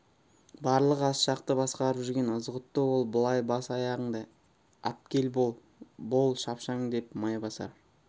барлық ас жақты басқарып жүрген ызғұтты ол былай бас аяғыңды әпкел бол бол шапшаң деп майбасар